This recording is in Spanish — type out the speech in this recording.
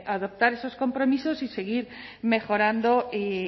adaptar esos compromisos y seguir mejorando y